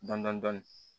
Dɔndɔni